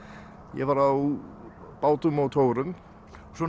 ég var á bátum og togurum svo